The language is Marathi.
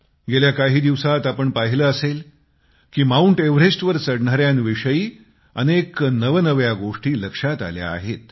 गेल्या काही दिवसांत आपण पाहिले असेल की माऊंट एव्हरेस्टवर चढणाऱ्यांच्याविषयी अनेक नवनव्या गोष्टी लक्षात आल्या आहेत